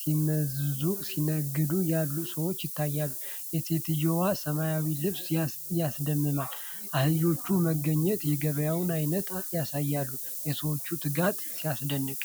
ሲመዝኑና ሲነግዱ ያሉ ሰዎች ይታያሉ። የሴትየዋ ሰማያዊ ልብስ ያስደምማል። የአህዮች መገኘት የገበያውን ዓይነት ያሳያል። የሰዎቹ ትጋት ሲደነቅ!